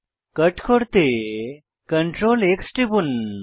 কট করতে Ctrl X টিপুন